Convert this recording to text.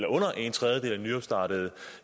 at under en tredjedel af de nyopstartede